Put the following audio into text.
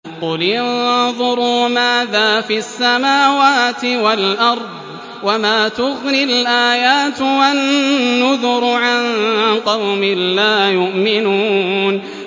قُلِ انظُرُوا مَاذَا فِي السَّمَاوَاتِ وَالْأَرْضِ ۚ وَمَا تُغْنِي الْآيَاتُ وَالنُّذُرُ عَن قَوْمٍ لَّا يُؤْمِنُونَ